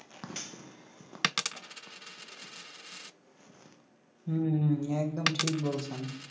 হুম একদম ঠিক বলসেন